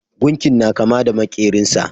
Gunkin na kama da makerin sa.